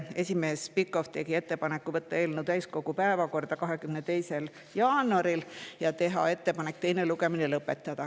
Esimees Pikhof tegi ettepaneku võtta eelnõu täiskogu päevakorda 22. jaanuaril ja ettepaneku teine lugemine lõpetada.